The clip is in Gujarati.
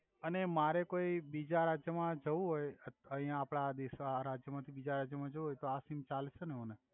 અને મારે કોઇ બિજા રાજ્ય મા જવુ હોય અથ આયા આપડા આ દેસ મા આ રાજ્ય મથિ બિજા રાજય મા જવુ હોય તો આ સિમ ચાલ્સે ને મને